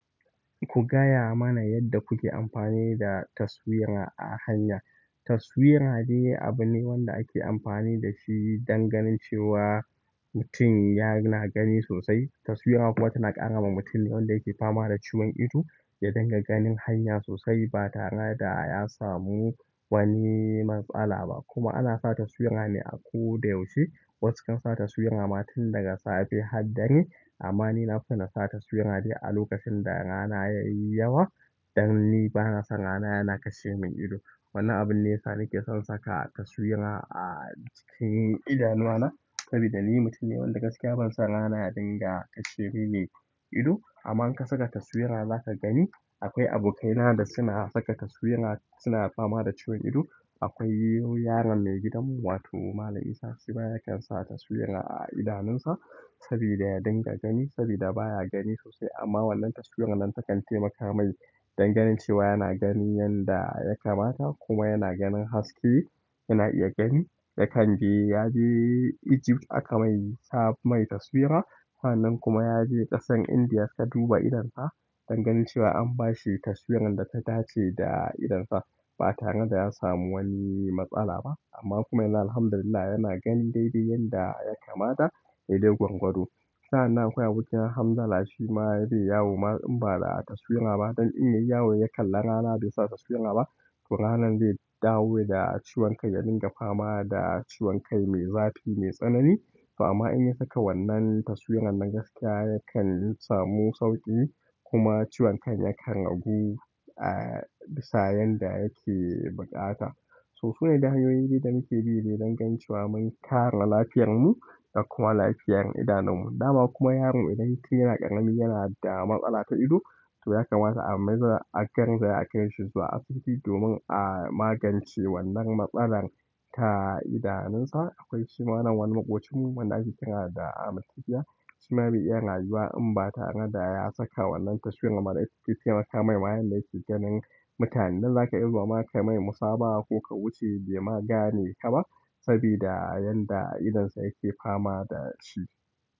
Ku gaya mana yadda kuke amfani da taswira a hanya. Taswira de abu wanda ake amfani da shi don ganin cewa mutum yana gani sosai. Taswira kuma tana ƙarama mutum wanda yake fama da ciwon ido ya dinga ganin hanya sosai ba tare da ya samu wani matsala ba. Kuma ana sa taswira ne a ko da yaushe. Wasu kan sa taswira ma tin daga safe har dare. Amma ni na fi son na sa taswira ne a lokacin da rana yayi yawa, dan ni bana son rana yana kashe min ido. Wannan abun ne sana ke son saka taswira a cikin idanuwa na, saboda ni mutum ne wanda gaskiya bana son rana ya dinga kashe mini ido. Amma in ka saka taswira za ka gani, akwai abokaina da suna saka taswira suna fama da ciwon ido. Akwai yaron mai gidanmu, wato Malam Isah, shi ma ya kan sa taswira a idanunsa saboda ya dinga gani, saboda baya gani sosai. Amma wannan taswiran nan takan taimaka mai don ganin cewa yana gani yanda ya kamata kuma yana ganin haske yana iya gani. Yakan je, ya je Egypt aka mai sa mai taswira. Sa'an nan kuma ya je ƙasar Indiya suka duba idonsa don ganin cewa an bashi taswiran da ta dace da idonsa ba tare da ya samu wani matsala ba. Amma kuma yana, Alhamdulillah, yana ganin daidai yanda ya kamata. Dede gwargwado. Sa'an nan akwai abokina hamza, shi ma ya dena yawo. Ma in ba da taswira ba, don in yayi yawo ya kalla rana bai sa taswira ba, to ranan zai dawo da ciwon kai, ya dinga fama da ciwon kai mai zafi, mai tsanani. To amma in ya saka wannan taswiran nan gaskiya yakan samu sauƙi kuma ciwon kai yakan ragu, ah, sa'an da yake buƙata. So kawai de hanyoyin da muke bi ne don ganin cewa mun kare lafiyarmu da kuma lafiyar idanunmu. Dama kuma yaron idan mutum yana ƙarami yana da matsala ta ido, to ya kamata a maza a garzaya akai shi zuwa asibiti domin a magance wannan matsalar ta idanunsa. Akwai suma nan wani maƙocinmu wanda ake kira da Ahmad Tufiya. Shi ma bai iya rayuwa in ba tare da ya saka wannan taswiran ba. Na iya taimaka mai ma yanda yake ganin mutane. Nan za ka iso ma ka mai musaba ko ka wuce bai ma gane ka ba saboda yanda idonsa yake fama da shi.